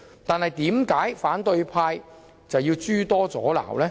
但是，為何反對派議員卻要諸多阻撓？